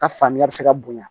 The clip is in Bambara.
Ka faamuya bɛ se ka bonya